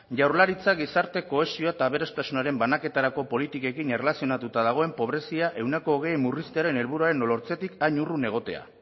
jaurlaritzak gizarte kohesioa eta aberastasunaren banaketarako politikekin erlazionatuta dagoen pobrezia ehuneko hogei murriztearen helburuaren lortzetik hain urrun egotea